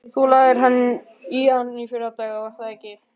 Þú lagðir í hann í fyrradag, var það ekki?